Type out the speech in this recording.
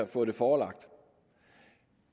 fået det forelagt